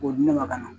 K'o di ne ma ka na